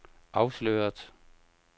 afsløret